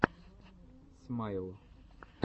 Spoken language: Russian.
смайл